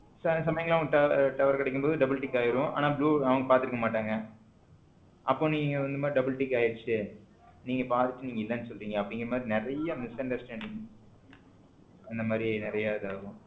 சில சமயங்கள்ல அவங்களுக்கு tower கிடைக்கும் போத double tick ஆயிடும் ஆனா blue அவங்க பார்த்திருக்க மாட்டாங்க. அப்போ நீங்க வந்த double tick ஆயிடுச்சு நீங்க பாத்துட்டு இல்லைன்னு சொல்றீங்க அப்படிங்கற மாதிரி நிறை misunderstanding இந்த மாதிரி நிறைய இது ஆகும்